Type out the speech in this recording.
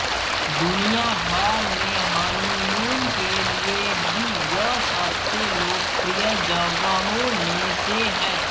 दुनियाभर में हनीमून के लिए भी यह सबसे लोकप्रिय जगहों में से है